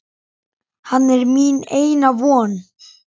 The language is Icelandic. Hann er mín eina von.